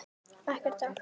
Eftir dag.